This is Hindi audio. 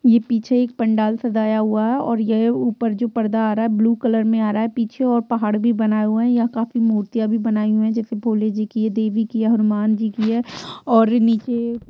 ये पीछे एक पंडाल सजाया हुआ है। और यह ऊपर एक जो पर्दा आ रहा है ब्लू कलर का है पीछे और पहाड़ भी बनाया हुआ है यह काफी मूर्तियाँ भी बनाई हुई है जैसे भोले जी देवी की है हनुमान जी की है और नीचे --